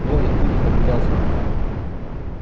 белый клык наблюдал за ним